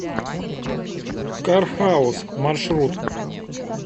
кархаус маршрут